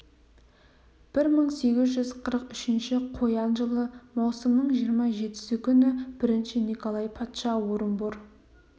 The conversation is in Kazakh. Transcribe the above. бір мың сегіз жүз қырық үшінші қоян жылы маусымның жиырма жетісі күні бірінші николай патша орынбор